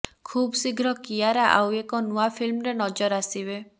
ଖୁବ୍ ଶୀଘ୍ର କିୟାରା ଆଉ ଏକ ନୂଆ ଫିଲ୍ମରେ ନଜର ଆସିବେ